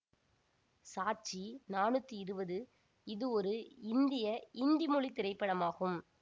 சாச்சி நானூற்றி இருபது இது ஒரு இந்திய இந்தி மொழி திரைப்படமாகும்